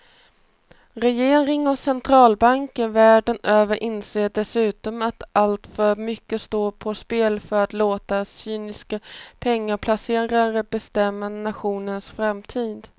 Regeringar och centralbanker världen över inser dessutom att alltför mycket står på spel för att låta cyniska pengaplacerare bestämma nationernas framtid.